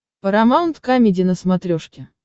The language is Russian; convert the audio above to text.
парамаунт камеди на смотрешке